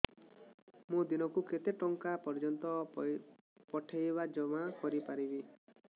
ମୁ ଦିନକୁ କେତେ ଟଙ୍କା ପର୍ଯ୍ୟନ୍ତ ପଠେଇ ବା ଜମା କରି ପାରିବି